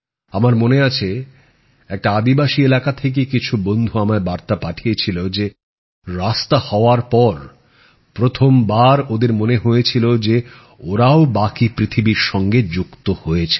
আমার মনে আছে একটি আদিবাসী এলাকা থেকে কিছু বন্ধু আমায় বার্তা পাঠিয়েছিল যে রাস্তা হওয়ার পর প্রথম বার ওদের মনে হয়েছিল যে ওরাও বাকী পৃথিবীর সঙ্গে যুক্ত হয়েছে